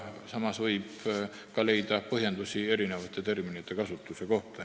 Samas võib leida ka põhjendusi erinevate terminite kasutuse kohta.